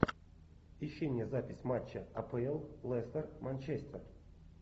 ищи мне запись матча апл лестер манчестер